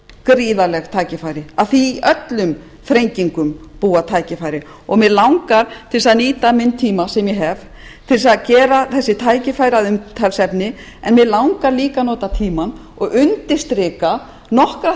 gríðarleg tækifæri af því að í öllum þrengingum búa tækifæri mig langar til þess að nýta minn tíma sem ég hef til þess að gera þessi tækifæri að umtalsefni en mig langar líka að nota tímann og undirstrika nokkra